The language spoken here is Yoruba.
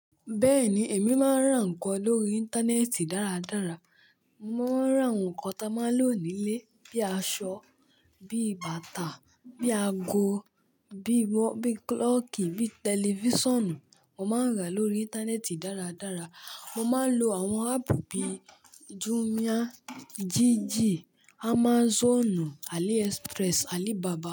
Bẹ́ẹ̀ni, èmi máa ń rà ǹkan lórí íńtánẹ́ẹ̀tì dáradára. Mo máa ń rà ǹkan tí a máa ń lò nílé bí i aṣọ, bí i bàtà, bí i ago, bí i kílọ̀kì, bí i tẹlifíṣàn. Mo máa ń rà lórí íńtánẹ́ẹ̀tì dáradára. Mo máa ń lo àwọn áàpù bí i Jumia, Jiji, Amazon, AliExpress, Alibaba.